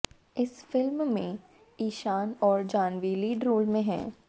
इस फिल्म में ईशान और जाह्नवी लीड रोल में हैं